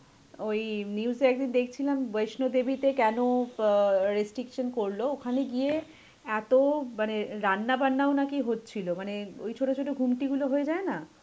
ওই news এ একদিন দেখছিলাম বৈষ্ণব দেবীতে কেন অ্যাঁ restriction করলো, ওখানে গিয়ে এত মানে রান্না বান্নাও নাকি হচ্ছিল মানে ওই ছোট ছোট ঘুমটি গুলো হয়ে যায় না.